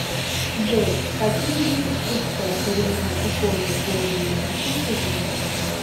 джой какие виды курская коренная икона божией матери ты знаешь